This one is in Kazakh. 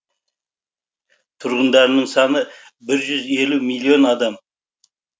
тұрғындарының саны бір жүз елу миллион адам